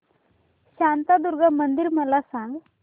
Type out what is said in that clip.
शांतादुर्गा मंदिर मला सांग